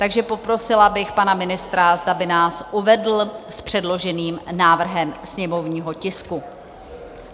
Takže poprosila bych pana ministra, zda by nás uvedl s předloženým návrhem sněmovního tisku.